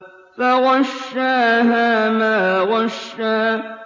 فَغَشَّاهَا مَا غَشَّىٰ